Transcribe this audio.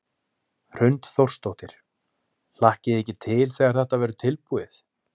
Hrund Þórsdóttir: Hlakkið þið ekki til þegar þetta verður tilbúið?